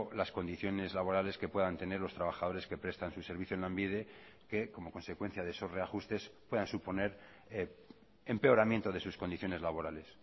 las condiciones laborales que puedan tener los trabajadores que prestan su servicio en lanbide que como consecuencia de esos reajustes puedan suponer empeoramiento de sus condiciones laborales